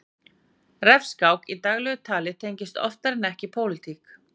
refskák í daglegu tali tengist oftar en ekki pólitík